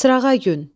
Sırağa gün.